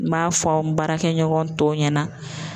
N b'a fɔ n baarakɛ ɲɔgɔn tɔw ɲɛna